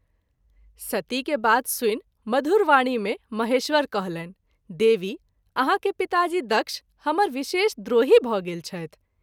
सती के बात सुनि मधुर वाणी मे महेश्वर कहलनि देवी ! आहाँ के पिताजी दक्ष हमर विशेष द्रोही भ’ गेल छथि।